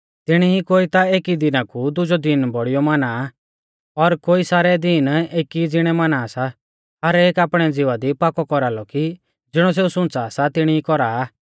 तिणी ई कोई ता एकी दिना कु दुजौ दिन बौड़ियौ माना आ और कोई सारै दिन एकी ई ज़िणै माना सा हर एक आपणै ज़िवा दी पाकौ कौरालौ कि ज़िणौ सेऊ सुंच़ा सा तिणी कौरा आ